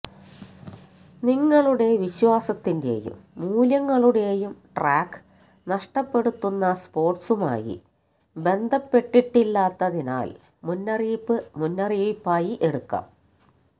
നിങ്ങളുടെ വിശ്വാസത്തിൻറെയും മൂല്യങ്ങളുടെയും ട്രാക്ക് നഷ്ടപ്പെടുത്തുന്ന സ്പോർട്സുമായി ബന്ധപ്പെട്ടിട്ടില്ലാത്തതിനാൽ മുന്നറിയിപ്പ് മുന്നറിയിപ്പായി എടുക്കാം